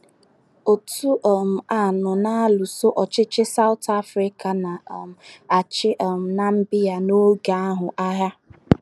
Òtù um a nọ na - alụso ọchịchị Saụt Afrịka na - um achị um Namibia n’oge ahụ agha.